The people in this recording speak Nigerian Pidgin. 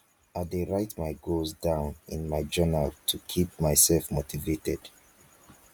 i dey write my goals down in my journal to keep myself motivated.